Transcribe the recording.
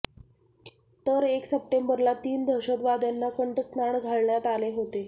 तर एक सप्टेंबरला तीन दहशतवाद्यांना कंठस्नान घालण्यात आले होते